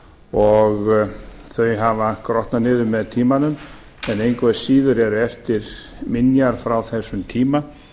og þau hafa grotnað niður með tímanum en engu að síður eru eftir minjar frá þessum tíma